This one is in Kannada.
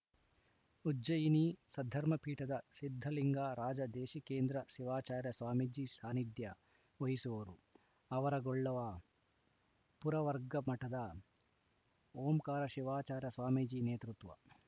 ಉಜ್ಜಯಿನಿ ಸದ್ಧರ್ಮ ಪೀಠದ ಸಿದ್ಧಲಿಂಗ ರಾಜದೇಶೀಕೇಂದ್ರ ಶಿವಾಚಾರ್ಯ ಸ್ವಾಮೀಜಿ ಸಾನಿಧ್ಯ ವಹಿಸುವರು ಆವರಗೊಳ್ಳ ಪುರವರ್ಗಮಠದ ಓಂಕಾರ ಶಿವಾಚಾರ್ಯ ಸ್ವಾಮೀಜಿ ನೇತೃತ್ವ